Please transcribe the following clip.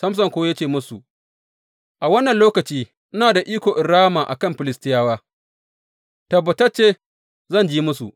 Samson kuwa ya ce musu, A wannan lokaci ina da iko in rama a kan Filistiyawa; tabbatacce zan ji musu.